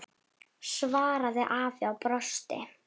svaraði afi og brosti.